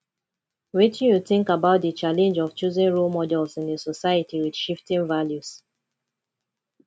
wetin you think about di challenge of choosing role models in a society with shifting values